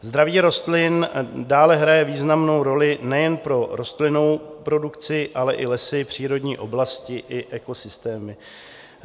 Zdraví rostlin dále hraje významnou roli nejen pro rostlinnou produkci, ale i lesy, přírodní oblasti i ekosystémy.